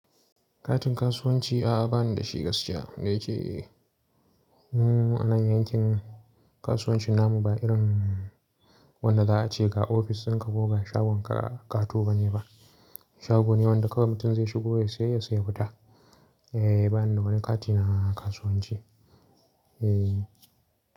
Katin kasuwanci a'a bani da shi gaskiya. Da ke anan yankin kasuwancin namu ba irin wanda da a ce ga ofis dinka kuma ga shagon ka kato bane ba. Shago ne wanda kamai mutum zai shigo yayi sayayyassa ya fita. Ehh bani da wani kati na kasuwanci. Eh.